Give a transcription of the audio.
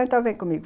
Então vem comigo.